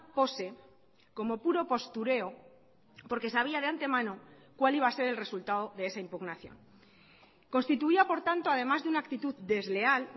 pose como puro postureo porque sabía de antemano cuál iba a ser el resultado de esa impugnación constituía por tanto además de una actitud desleal